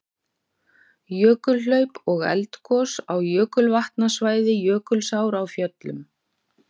Jökulhlaup og eldgos á jökulvatnasvæði Jökulsár á Fjöllum.